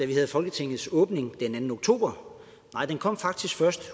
vi havde folketingets åbning den anden oktober nej det kom faktisk først